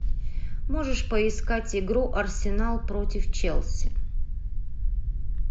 можешь поискать игру арсенал против челси